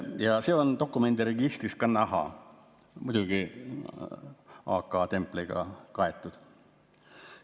Ja see on dokumendiregistris ka näha, muidugi AK-templiga varustatud.